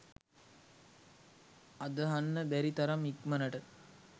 අදහන්න බැරි තරම් ඉක්මනට